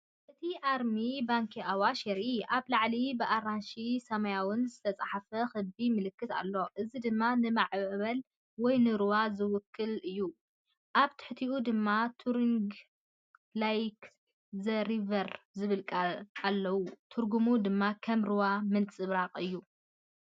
እቲ ኣርማ “ባንኪ ኣዋሽ” የርኢ። ኣብ ላዕሊ ብኣራንሺን ሰማያውን ዝተጻሕፈ ክቢ ምልክት ኣሎ፣ እዚ ድማ ንማዕበል ወይ ንሩባ ዝውክል እዩ። ኣብ ትሕቲኡ ድማ “ኑትሪንግ ላይክ ዘ ሪቨር” ዝብሉ ቃላት ኣለዉ። ትርጉሙ ድማ “ከም ሩባ ምንጽብራቕ” እዩ።